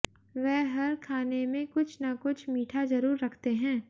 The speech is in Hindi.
वह हर खाने में कुछ न कुछ मीठा जरूर रखते हैं